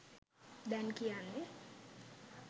දැන් කියන්නේ